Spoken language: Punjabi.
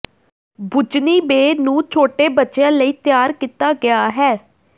ਬੁੱਚਨੀ ਬੇ ਨੂੰ ਛੋਟੇ ਬੱਚਿਆਂ ਲਈ ਤਿਆਰ ਕੀਤਾ ਗਿਆ ਹੈ